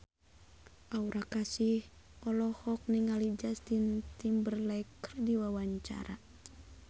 Aura Kasih olohok ningali Justin Timberlake keur diwawancara